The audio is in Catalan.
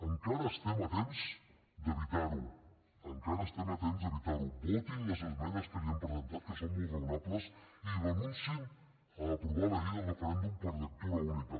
encara estem a temps d’evitar ho encara estem a temps d’evitar ho votin les esmenes que els hem presentat que són molt raonables i renunciïn a aprovar la llei del referèndum per lectura única